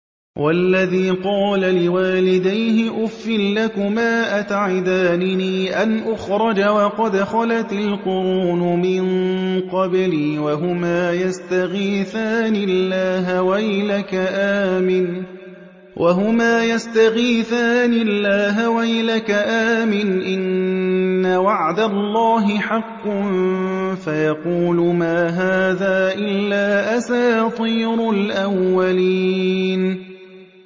وَالَّذِي قَالَ لِوَالِدَيْهِ أُفٍّ لَّكُمَا أَتَعِدَانِنِي أَنْ أُخْرَجَ وَقَدْ خَلَتِ الْقُرُونُ مِن قَبْلِي وَهُمَا يَسْتَغِيثَانِ اللَّهَ وَيْلَكَ آمِنْ إِنَّ وَعْدَ اللَّهِ حَقٌّ فَيَقُولُ مَا هَٰذَا إِلَّا أَسَاطِيرُ الْأَوَّلِينَ